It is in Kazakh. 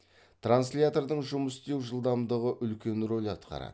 транслятордың жұмыс істеу жылдамдығы үлкен рөл атқарады